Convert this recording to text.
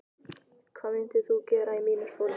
hvað myndir þú gera í mínum sporum?